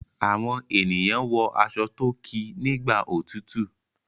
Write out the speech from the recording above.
Awọn ènìyàn wọ aṣọ to kí nÌgbà òtútù.